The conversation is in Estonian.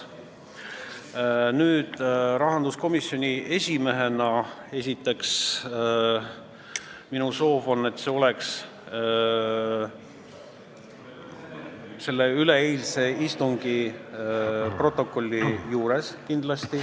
Rahanduskomisjoni esimehena on minu soov esiteks, et see oleks kindlasti üleeilse istungi protokolli juures.